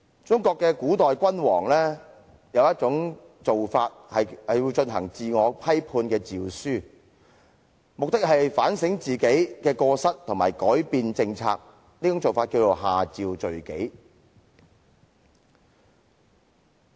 中國古代君主會頒布自我批判的詔書，目的是反省自己過失，以及改變政策，這做法名為"下詔罪己"。